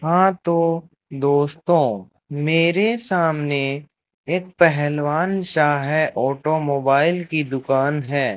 हां तो दोस्तो मेरे सामने एक पहलवान सा है ऑटोमोबाइल की दुकान है।